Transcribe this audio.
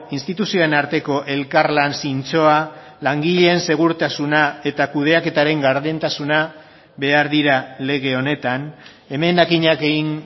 instituzioen arteko elkarlan zintzoa langileen segurtasuna eta kudeaketaren gardentasuna behar dira lege honetan emendakinak egin